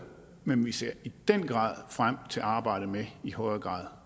men vi ser i den grad frem til arbejdet med i højere grad